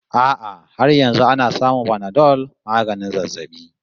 A'a har yanzu ana samun Panadol maganin zazzabi